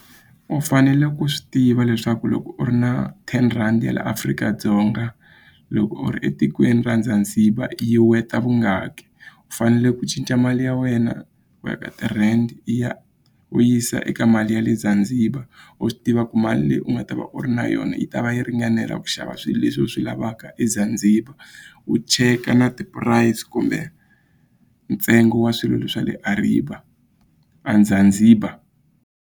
U fanele u swi tiva leswaku loko u ri na ten rhandi ya la Afrika-Dzonga loko u ri etikweni ra Zanzibar yi worth-a vungaki u fanele ku cinca mali ya wena u ya ka ti-rand ya u yisa eka mali ya le Zanzibar u swi tiva ku mali leyi u nga ta va u ri na yona yi ta va yi ringanela ku xava swilo leswi u swi lavaka eZanzibar u cheka na ti-price kumbe ntsengo wa swilo swa le a Zanzibar.